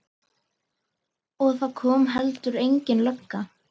Og það kom heldur engin lögga.